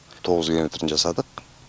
тоғыз километрін жасадық